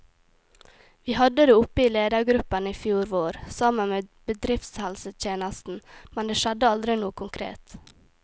Vi hadde det oppe i ledergruppen i fjor vår, sammen med bedriftshelsetjenesten, men det skjedde aldri noe konkret.